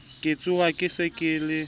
ka tshoha ke se ke